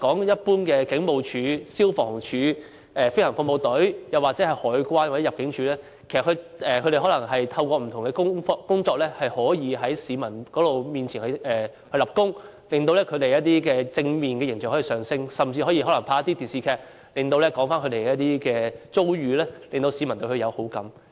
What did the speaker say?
一般而言，香港警務處、消防處、政府飛行服務隊、香港海關或入境事務處可透過不同的工作，在市民面前立功，提升他們的正面形象，甚至可透過電視劇說出他們的遭遇，令市民對他們有好感。